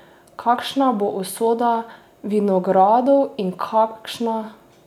Kakšna bo usoda vinogradov in kakšna Kapele?